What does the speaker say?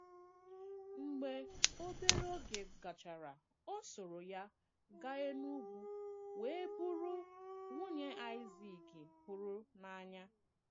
Mgbe obere oge gachara, ọ sòrò ya gàa Enùgwū wee bụrụ nwunye Aịzik hụrụ n’anya.